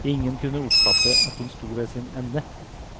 Ingen kunne oppfatte at hun sto ved sin ende.